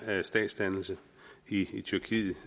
statsdannelse i tyrkiet